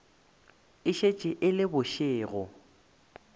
e šetše e le bošego